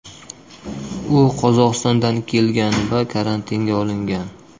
U Qozog‘istondan kelgan va karantinga olingan.